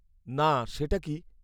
-না, সেটা কী?